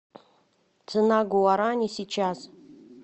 цена гуарани сейчас